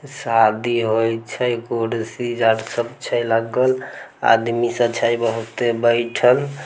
शादी होय छै कुर्सी यार छै लगल आदमी सब छै बहुते बैठल।